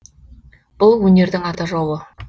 бұл өнердің ата жауы